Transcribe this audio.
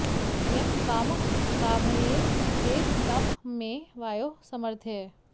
यं कामं॑ का॒मये॑ देव॒ तं मे॑ वायो॒ सम॑र्धय